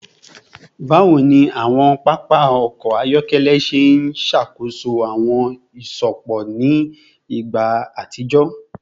Bawo ni awọn papa ọkọ ayọkẹlẹ ṣe ṣakoso awọn iṣupọ ni igba atijọ?